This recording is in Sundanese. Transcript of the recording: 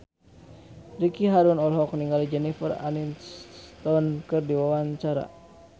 Ricky Harun olohok ningali Jennifer Aniston keur diwawancara